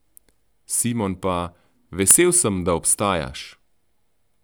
Simon pa: "Vesel sem, da obstajaš.